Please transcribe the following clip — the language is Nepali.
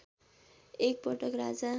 एक पटक राजा